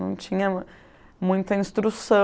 Não tinha muita instrução.